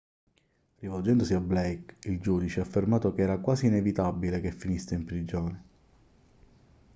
rivolgendosi a blake il giudice ha affermato che era quasi inevitabile che finisse in prigione